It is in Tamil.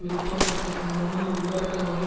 வெளித்தோற்றத்தைக் காணாமல் உள்ளடக்கமாகிய